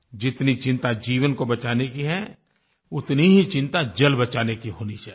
जितनी चिंता जीवन को बचाने की है उतनी ही चिंता जल बचाने की होनी चाहिये